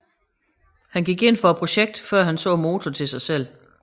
Han gik ind for projektet før han så motoren til sig selv